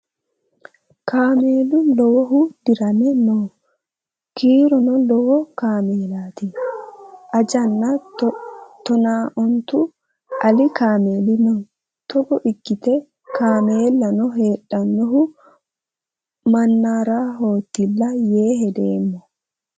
Kaamelu lowohu dirame no. Kiirono lowo kaamelati. Ajanna tonaa ontu ali kaameli no. Togo ikkite kaamellano heedhahu mannaarahotilla yee hedeemma.